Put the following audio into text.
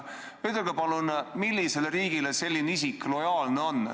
Ütelge palun, millisele riigile selline isik lojaalne on.